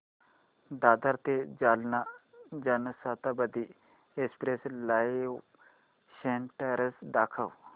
दादर ते Jalna Janshatabdi express live status दाखव